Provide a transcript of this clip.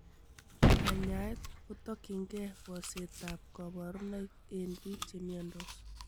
Kanyaet kotokyingei bosetab koborunoik en biik chemiondos.